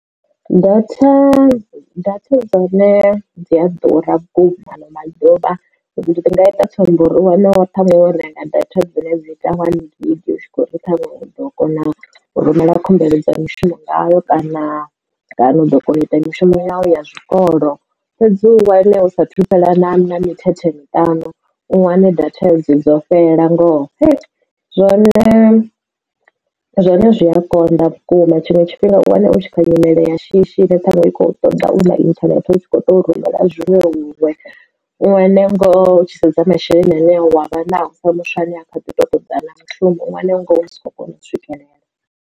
Datha data dza hone dzi a ḓura vhukuma ano maḓuvha ndi nga ita tsumbo uri u wane wo ṱhanwe wo renga data dzine dzi ita one gig u tshi kho ri ṱhanwe u ḓo kona rumela khumbelo dza mishumo ngayo kana kana u ḓo kona u ita mishumo yavho ya zwikolo. Fhedzi u wane hu sa thu fhela na mithethe miṱanu u wane data dzo fhelela ngoho zwone zwine zwi a konḓa vhukuma tshiṅwe tshifhinga u wane u tshi kha nyimele ya shishi ine ṱhaṅwe i kho ṱoḓa u na inthanethe hu tshi kho to rumela zwiṅwevho huṅwe u tshi sedza masheleni ane wavha nao pfa muthu ane a kha ḓi to ṱoḓa na mushumo u wane ngoho u si khou kona u swikelela.